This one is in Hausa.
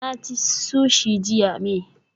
Na ci sushi jiya may